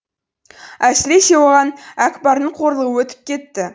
әсіресе оған әкпардың қорлығы өтіп кетті